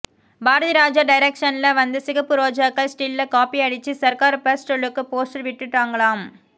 பாரதிராஜா டைரக்சன்ல வந்த சிகப்பு ரோஜாக்கள் ஸ்டில்ல காபி அடிச்சு சர்கார் பர்ஸ்ட் லுக் போஸ்டர் விட்டுட்டாங்களாம்